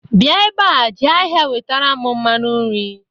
bia ebea je ahia wetaram mmanu nri